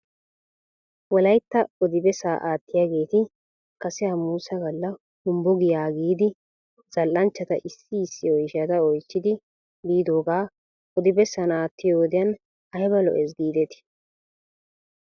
Wolaytta odi bessaa aattiyaageeti kase hamuusa gala humbbo giyaa yiidi zal'anchchata issi issi oyshata oychchidi biidoogaa odi bessan aatiyoo wodiyan ayba lo'es giidetii?